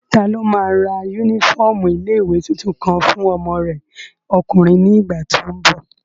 Taló máa ra yúnífọ́ọ̀mù ilé-ìwé tuntun kan fún ọmọ rẹ ọkùnrin ní ìgbà tó n bọ̀?